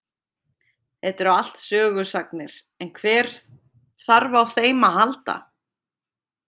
Þetta eru allt sögusagnir en hver þarf á þeim að halda.